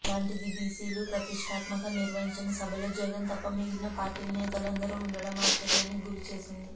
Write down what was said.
అలాంటిది బిసిలు ప్రతిష్టాత్మకంగా నిర్వహించిన సభలో జగన్ తప్ప మిగిలిన పార్టీల నేతలందరు ఉండడం ఆశ్చర్యానికి గురి చేసింది